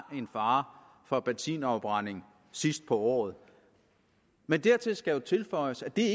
en fare for benzinafbrænding sidst på året men der skal tilføjes at det